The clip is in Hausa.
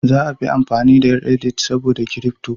Za a fi amfani da "Reddit" saboda Kirifto